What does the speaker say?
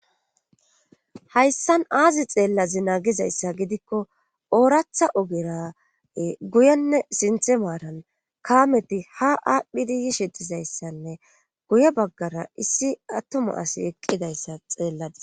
Hayssan aazi xeellazi naagizayssa gidikko ooratha ogera guyenne sinthe maaran kaameti ha aaphidiyi shidizayssanne guye baggara issi attuma asi eqqidayssa xeelladis.